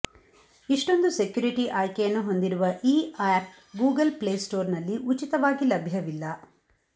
ಇಷ್ಟೊಂದು ಸೆಕ್ಯುರಿಟಿ ಆಯ್ಕೆಯನ್ನು ಹೊಂದಿರುವ ಈ ಆಪ್ ಗೂಗಲ್ ಪ್ಲೇ ಸ್ಟೋರ್ನಲ್ಲಿ ಉಚಿತವಾಗಿ ಲಭ್ಯವಿಲ್ಲ